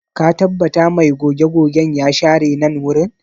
Ka tabbata mai goge-gogen ya share nan wurin?